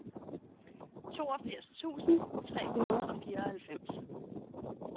toogfirs tusind tre hundrede og fireoghalvfems